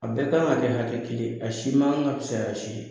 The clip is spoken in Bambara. A bɛɛ kan ka kɛ hakɛ kelen ye, a si ma kan ka fisaya si ye.